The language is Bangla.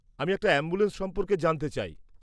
আমি একটা অ্যাম্বুলেন্স সম্পর্কে জানতে চাই।